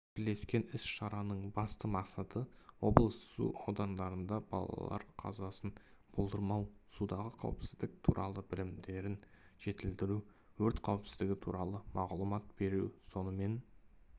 бірлескен іс-шараның басты мақсаты облыс су айдындарында балалар қазасын болдырмау судағы қауіпсіздік туралы білімдерін жетілдіру өрт қауіпсіздігі туралы мағұлмат беру сонымен